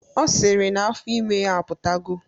Ọ sịrị na afọ ime ya apụtago